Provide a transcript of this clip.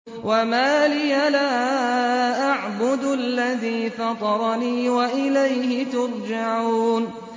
وَمَا لِيَ لَا أَعْبُدُ الَّذِي فَطَرَنِي وَإِلَيْهِ تُرْجَعُونَ